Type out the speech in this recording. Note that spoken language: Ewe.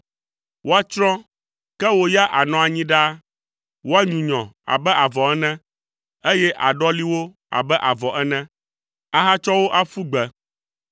Woatsrɔ̃, ke wò ya ànɔ anyi ɖaa; woanyunyɔ abe avɔ ene, eye àɖɔli wo abe avɔ ene ahatsɔ wo aƒu gbe.